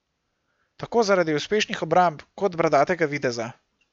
Tako zaradi uspešnih obramb kot bradatega videza.